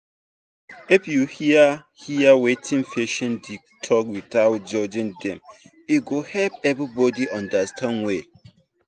if you hear hear wetin patient dey talk without judging dem e go help everybody understand well.